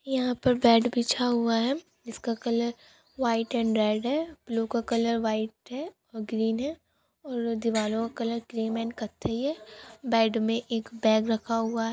यहाँ पर बेड बिछा हुआ है जिसका कलर वाइट एंड रेड है पिलो का कलर वाइट है और ग्रीन है और दीवालों का कलर क्रीम एंड कत्थई है बेड में एक बैग रखा हुआ--